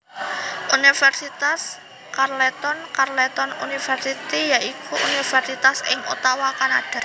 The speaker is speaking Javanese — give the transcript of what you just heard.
Universitas Carleton Carleton University ya iku universitas ing Ottawa Kanada